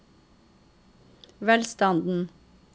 velstanden